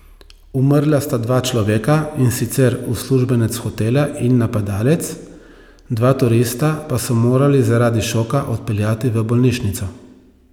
Umrla sta dva človeka, in sicer uslužbenec hotela in napadalec, dva turista pa so morali zaradi šoka odpeljati v bolnišnico.